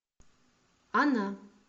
она